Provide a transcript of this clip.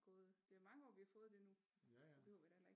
Gået det er mange år vi har fået det nu behøver vi da heller ikke